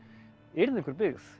yrði einhver byggð